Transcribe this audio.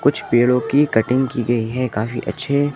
कुछ पेड़ों की कटिंग की गई है काफी अच्छे--